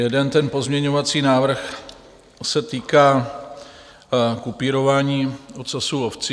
Jeden ten pozměňovací návrh se týká kupírování ocasu ovcí.